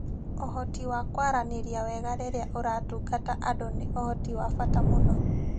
Ũhoti wa kwaranĩria wega rĩrĩa ũratungata andũ nĩ ũhoti wa bata mũno.